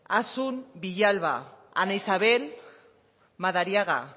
asun villalba ana isabel madariaga